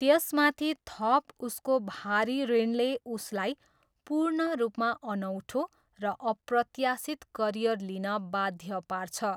त्यसमाथि थप उसको भारी ऋणले उसलाई पूर्ण रूपमा अनौठो र अप्रत्याशित करियर लिन बाध्य पार्छ।